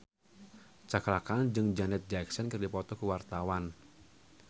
Cakra Khan jeung Janet Jackson keur dipoto ku wartawan